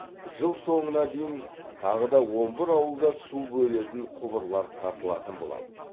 жыл соңына дейін тағы да он бір ауылда су бөлетін құбырлар тартылатын болады